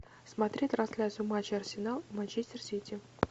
смотреть трансляцию матча арсенал манчестер сити